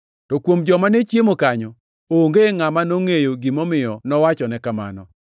To kuom joma ne chiemo kanyo, onge ngʼama nongʼeyo gimomiyo nowachone kamano.